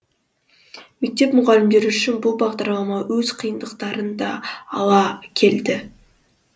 мектеп мұғалімдері үшін бұл бағдарма өз қиындықтарын да ала келді